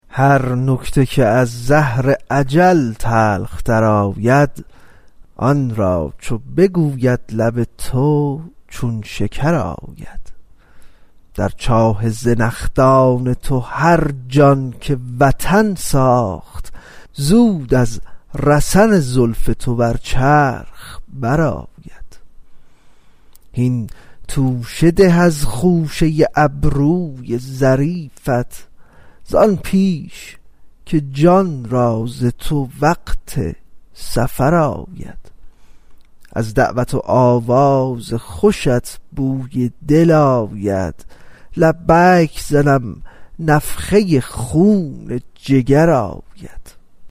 هر نکته که از زهر اجل تلختر آید آن را چو بگوید لب تو چون شکر آید در چاه زنخدان تو هر جان که وطن ساخت زود از رسن زلف تو بر چرخ برآید هین توشه ده از خوشه ابروی ظریفت زان پیش که جان را ز تو وقت سفر آید از دعوت و آواز خوشت بوی دل آید لبیک زنم نفخه خون جگر آید